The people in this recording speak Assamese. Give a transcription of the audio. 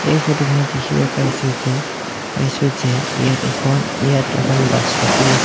এই ফটো খনত দেখিব পাইছোঁ যে পাইছোঁ যে ইয়াত এখন ইয়াত এখন বাছ ৰখি আছে।